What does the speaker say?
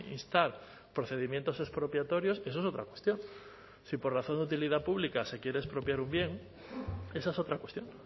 instar procedimientos expropiatorios eso es otra cuestión si por razón de utilidad pública se quiere expropiar un bien esa es otra cuestión